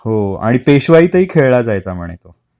हो, आणि पेशवाईतही खेळला जायचा म्हणे तो